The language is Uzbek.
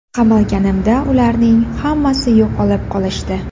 Qamalganimda ularning hammasi yo‘qolib qolishdi.